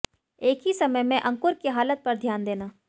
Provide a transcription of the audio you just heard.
एक ही समय में अंकुर की हालत पर ध्यान देना